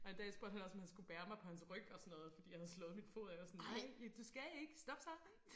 Og en dag spurgte han også om han skulle bære mig på hans ryg og sådan noget fordi jeg havde slået min fod og jeg var sådan nej du skal ikke stop så